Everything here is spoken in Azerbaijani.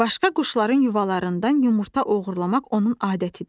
Başqa quşların yuvalarından yumurta oğurlamaq onun adətidir.